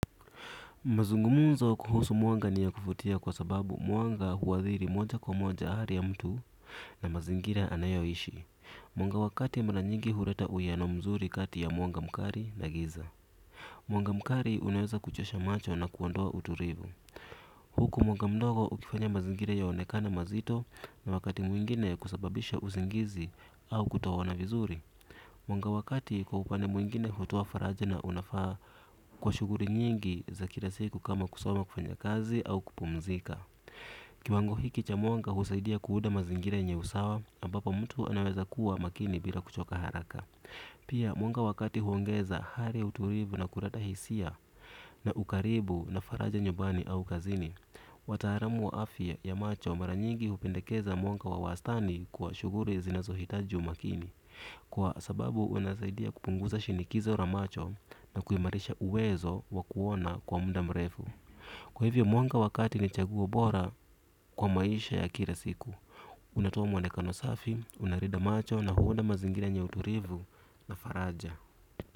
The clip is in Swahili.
Mazungumzo kuhusu mwanga ni ya kuvutia kwa sababu mwanga huathiri moja kwa moja hali ya mtu na mazingira anayoishi. Mwanga wakati mara nyingi huleta uwiano mzuri kati ya mwanga mkali na giza. Mwanga mkali unaweza kuchosha macho na kuondoa utulivu. Huku mwanga mdogo ukifanya mazingira yaonekane mazito na wakati mwingine kusababisha usingizi au kutoona vizuri. Mwanga wa kati kwa upande mwingine hutoa faraja na unafaa kwa shughuli nyingi za kila siku kama kusoma kufanya kazi au kupumzika. Kiwango hiki cha mwanga husaidia kuunda mazingira yenye usawa ambapo mtu anaweza kuwa makini bila kuchoka haraka. Pia mwanga wa kati huongeza hali utulivu na kuleta hisia na ukaribu na faraja nyumbani au kazini. Wataalamu wa afya ya macho mara nyingi hupendekeza mwanga wa wastani kwa shughuli zinazohitaji umakini. Kwa sababu unasaidia kupunguza shinikizo la macho na kuimarisha uwezo wa kuona kwa muda mrefu. Kwa hivyo mwanga wakati ni chaguo bora kwa maisha ya kila siku. Unatoa mwonekano safi, unalinda macho na huunda mazingira yenye utulivu na faraja.